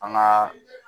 An ka